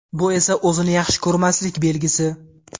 Bu esa o‘zini yaxshi ko‘rmaslik belgisi.